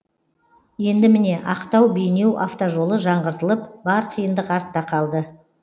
енді міне ақтау бейнеу автожолы жаңғыртылып бар қиындық артта қалды